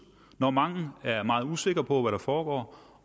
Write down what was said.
og mange er meget usikre på hvad der foregår